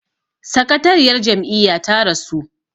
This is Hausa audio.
sakatariyar Jam'iyya ta rasu